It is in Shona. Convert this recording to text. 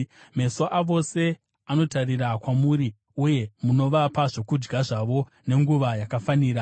Meso avose anotarira kwamuri, uye munovapa zvokudya zvavo nenguva yakafanira.